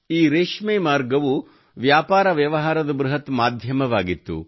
ಈ ರೇಷ್ಮೆ ಮಾರ್ಗವು ವ್ಯಾಪಾರ ವ್ಯವಹಾರದ ಬೃಹತ್ ಮಾಧ್ಯಮವಾಗಿತ್ತು